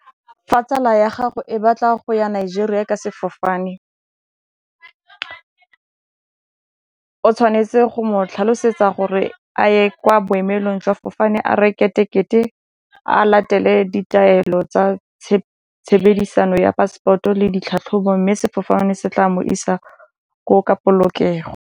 Fa tsala ya gago e batla go ya Nigeria ka sefofane o tshwanetse go mo tlhalosetsa gore a ye kwa boemelong jwa 'fofane a reke tekete, a latele ditaelo tsa tshebedisano ya passport-o le ditlhatlhobo mme sefofane se tla mo isa kogo ka polokego.